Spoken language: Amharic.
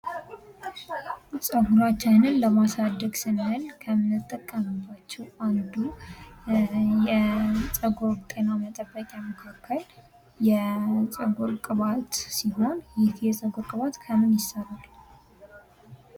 ጸጉራችንን ለማሳደግ ስንል ከምንጠቀምባቸው አንዱ የጸጉር ጤና መጠበቂያ መካከል የጸጉር ቅባት ሲሆን የጸጉር ቅባት ከምን ይሰራል?